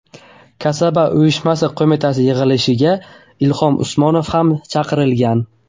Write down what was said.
Kasaba uyushma qo‘mitasi yig‘ilishiga Ilhom Usmonov ham chaqirilgan.